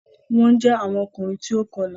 Wọn jẹ àwọn Ọkùnrin tí o kọla